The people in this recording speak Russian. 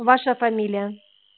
ваша фамилия